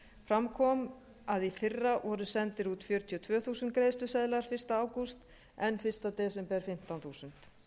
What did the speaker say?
fram kom að í fyrra voru sendir út fjörutíu og tvö þúsund greiðsluseðlar fyrsta ágúst en fyrsta desember fimmtán þúsund